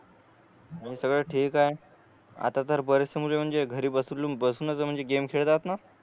सगळ ठीक आहे आता तर बरेच से मुल म्हणजे घरी बसून बसन जर म्हणजे गेम खेळतात न